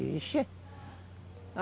Ixi.